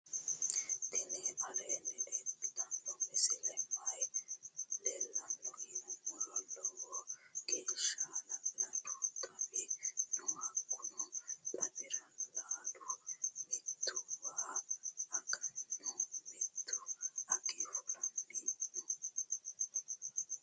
tini aleni leltano misileni maayi leelano yinnumoro. loiwo gesha hala'laduu xawi noo. hakuni xawira laalu mtttu waa aganino mittu age fuulanni noo.